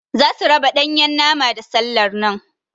Zasu raba Ɗanyan nama da sallar nan.